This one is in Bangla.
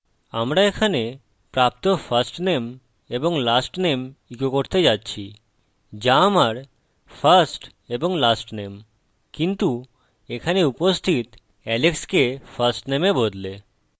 আমরা এখানে প্রাপ্ত firstname এবং lastname ইকো করতে যাচ্ছি যা আমার first এবং lastname কিন্তু এখানে উপস্থিত alex কে firstname এ বদলে